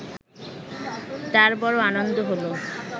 তার বড় আনন্দ হল